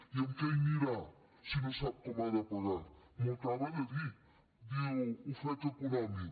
i amb què hi anirà si no sap com ha de pagar m’ho acaba de dir diu ofec econòmic